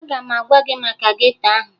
Aga m agwa gị maka geto ahụ